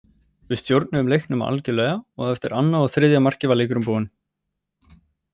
Við stjórnuðum leiknum algjörlega og eftir annað og þriðja markið var leikurinn búinn,